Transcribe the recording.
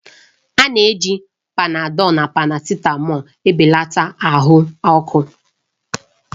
A na-eji Panadọlu na parasitamọlu belata ahụ ọkụ.